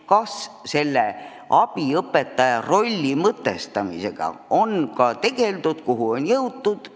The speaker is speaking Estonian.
Kas abiõpetaja rolli mõtestamisega on ka tegeldud ja kui on, siis kuhu on jõutud?